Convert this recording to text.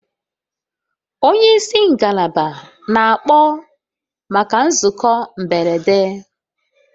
Onye isi ngalaba na-akpọ maka nzukọ mberede